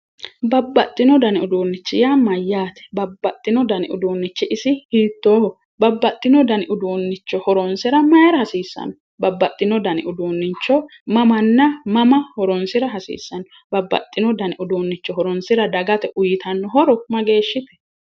babbaxino dani uduunnicho yaa mayyate? babbaxino dani uduunnichi isi hiittooho? babbaxino dani uduunnicho horoonsira mayira hasiissanno? babbaxino dani uduunnicho mamanna maama horoonsira hasiissanno? babbaxewo dani uduunnicho horoonsira dagate uyitanno horo mageeshshite?